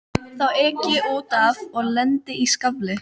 Þá ek ég út af og lendi í skafli.